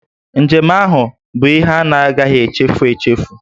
Njem ahụ bụ ihe a na-agahị echefu echefu